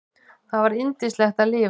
Það var yndislegt að lifa.